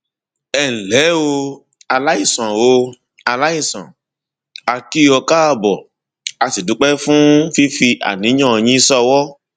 ẹ ǹlẹ o aláìsàn o aláìsàn a kì ọ káàbọ a sì dúpẹ fún fífi àníyàn yín ṣọwọ